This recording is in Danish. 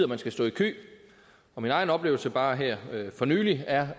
man skal stå i kø min egen oplevelse bare her for nylig er